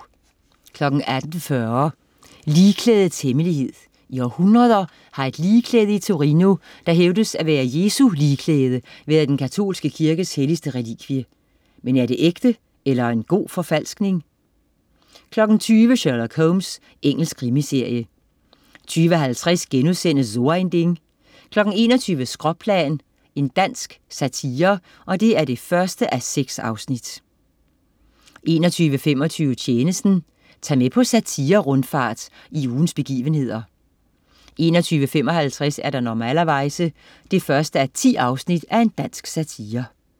18.40 Ligklædets hemmelighed. I århundreder har et ligklæde i Torino, der hævdes at være Jesu ligklæde, været den katolske kirkes helligste relikvie. Men er det ægte eller en god forfalskning? 20.00 Sherlock Holmes. Engelsk krimiserie 20.50 So ein Ding* 21.00 Skråplan 1:6. Dansk satire 21.25 Tjenesten. Tag med på satire-rundfart i ugens begivenheder 21.55 Normalerweize 1:10. Dansk satire